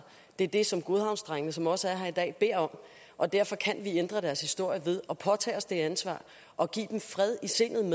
det er det som godhavnsdrengene som også er her i dag beder om og derfor kan vi ændre deres historie ved at påtage os det ansvar og give dem fred i sindet